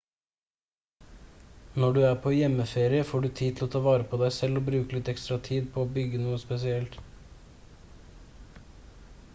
når du er på hjemmeferie får du tid til å ta vare på deg selv og bruke litt ekstra tid på å brygge noe spesielt